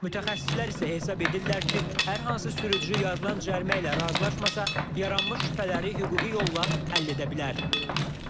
Mütəxəssislər isə hesab edirlər ki, hər hansı sürücü yazılan cərimə ilə razılaşmasa, yaranmış şübhələri hüquqi yolla həll edə bilər.